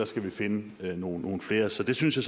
skal finde nogle flere så det synes jeg